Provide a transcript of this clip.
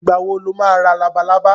Ìgbà wo lo ma ra labalábá?